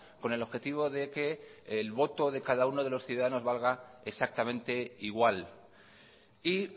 con el objetivo de que el voto de cada uno de los ciudadanos valga exactamente igual y